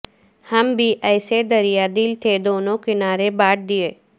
ہم بھی ایسے دریا دل تھے دونوں کنارے بانٹ دیے